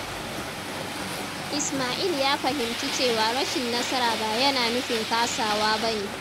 Ismail ya fahimci cewa rashin nasara ba yana nufin kasawa ba ne.